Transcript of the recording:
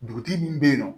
Dugutigi min bɛ yen nɔ